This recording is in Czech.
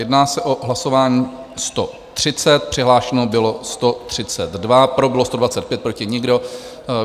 Jedná se o hlasování 130, přihlášeno bylo 132, pro bylo 125, proti nikdo.